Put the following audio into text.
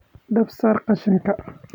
Dab saar qashinka